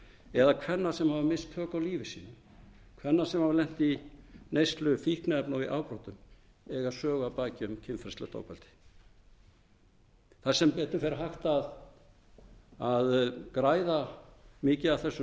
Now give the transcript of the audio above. eða kvenna sem hafa misst tök á lífi sínu kvenna sem hafa lent í neyslu fíkniefna og í afbrotum eiga sögu að baki um kynferðislegt ofbeldi það er sem betur fer hægt að græða mikið af þessum